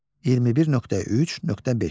21.3.5.